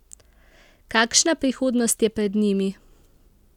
Kakšna prihodnost je pred njimi?